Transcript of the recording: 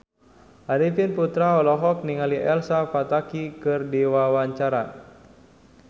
Arifin Putra olohok ningali Elsa Pataky keur diwawancara